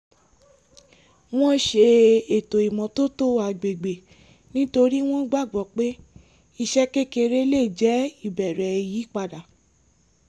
wọ́n ṣe ètò ìmọ́tótó agbègbè nítorí wọ́n gbàgbọ́ pé iṣẹ́ kékeré lè jẹ́ ìbẹ̀rẹ̀ ìyípadà